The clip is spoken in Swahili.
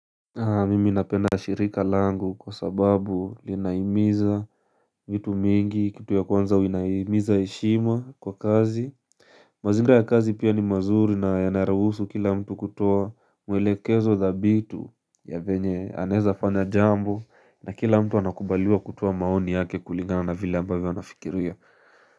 Mimi napedna shirika langu kwa sababu linahimiza vitu mingi kitu ya kwanza inahimiza heshima kwa kazi. Mazingira ya kazi pia ni mazuri na yanaruhusu kila mtu kutoa mwelekezo thabitu ya venye anaweza fanya jambo na kila mtu anakubaliwa kutoa maoni yake kulingana na vile ambayo anafikiria.